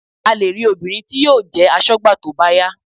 A lè rí obìnrin tí yóò jẹ́ aṣọ́gbà tó bá yá